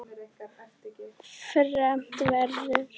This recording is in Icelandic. Fermt verður.